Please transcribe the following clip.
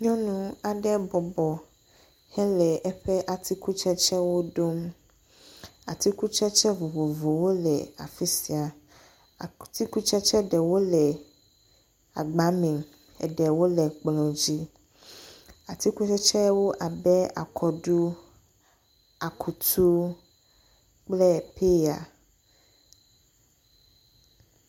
Nyɔnu aɖe bɔbɔ hele eƒe atikutsetsewo ɖom. Atikutsetse vovovowo le afi sia. Atikutsetse ɖewo le agba me. Eɖewo le ekplɔ̃ dzi. Atikutsetsewo abe akɔɖu, akutu kple peya.